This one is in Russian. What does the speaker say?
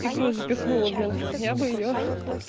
икру запихнула блин я бы её